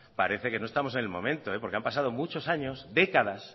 parece que no estamos en el momento porque han pasado muchos años décadas